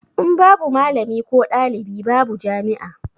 In babu malami ko ɗalibi babu jami'a